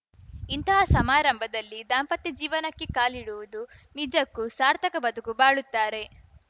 ಇಂತಹ ಸಮಾರಂಭದಲ್ಲಿ ದಾಂಪತ್ಯ ಜೀವನಕ್ಕೆ ಕಾಲಿಡುವುದು ನಿಜಕ್ಕೂ ಸಾರ್ಥಕ ಬದುಕು ಬಾಳುತ್ತಾರೆ